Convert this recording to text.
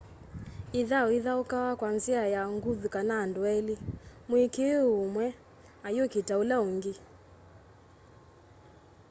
ithau ithaukawa kwa nzia ya nguthu kana andu eli mwikii wiio umwe ayukita ula ungi